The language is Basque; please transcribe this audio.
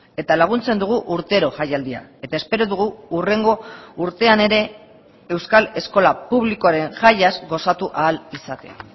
eta laguntzen dugu urtero jaialdia eta espero dugu hurrengo urtean ere euskal eskola publikoaren jaiaz gozatu ahal izatea